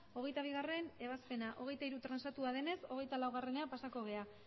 hogeita bigarrena ebazpena hogeita hirugarrena transatua denez hogeita lauera pasako gara